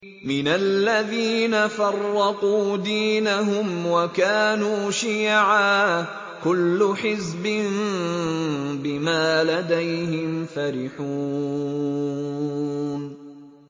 مِنَ الَّذِينَ فَرَّقُوا دِينَهُمْ وَكَانُوا شِيَعًا ۖ كُلُّ حِزْبٍ بِمَا لَدَيْهِمْ فَرِحُونَ